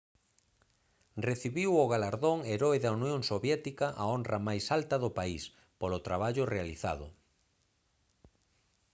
recibiu o galardón heroe da unión soviética a honra máis alta do país polo traballo realizado